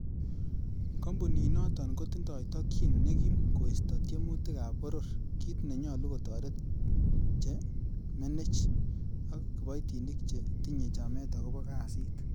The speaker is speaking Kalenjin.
Kompuninoton kotindoi tokyin nekim koisto tiemutik ab boror, kit nenyolu kotoret che menech, ak kiboitinik che tinye chamet agobo kasit.